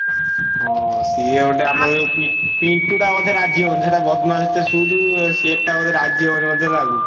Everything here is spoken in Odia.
ହଁ ସିଏ ଗୋଟେ ଆମର ଯୋଉ ପି ପିଣ୍ଟୁ ଟା ବୋଧେ ରାଜି ହବନି। ସେଇଟା ବଦମାସ ଟେ ସୁଧୁ ସିଏଟା ବୋଧେ ରାଜିହବନି ମତେ ଲାଗୁଚି।